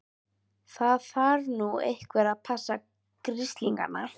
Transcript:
Það þarf nú einhver að passa grislingana.